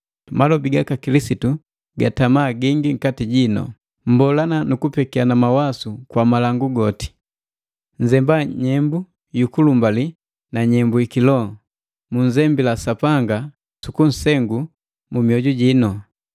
Malobi gaka Kilisitu gatama gingi nkati jinu. Mbolana nukupekiana mawasu kwa malangu goti. Nzemba nyembu yu kulumbali na nyembu yiki loho, munzembila Sapanga sukunsengu mu mioju jino.